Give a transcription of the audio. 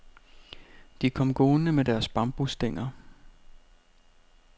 De kom gående med deres bambusstænger.